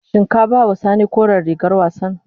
Shin ka ba ma sani koren rigar wassan.